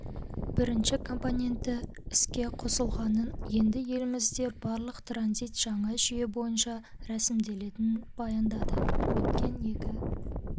бірінші компоненті іске қосылғанын енді елімізде барлық транзит жаңа жүйе бойынша рәсімделетінін баяндады өткен екі